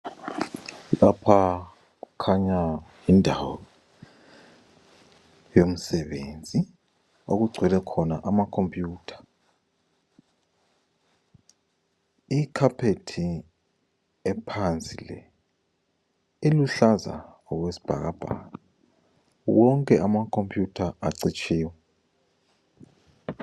Lapha kukhanya indawo yomsebenzi okugcwele khona ama computer. Icarpet ephansi le, iluhlaza okwesbhakabhaka. Wonke ama computer acitshiwe.